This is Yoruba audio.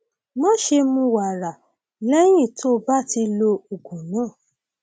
máṣe mu wàrà lẹyìn tó o bá ti lo oògùn náà